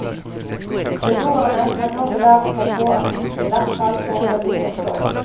Beboerne kan nå belage seg på at husene i hvert fall foreløpig får stå.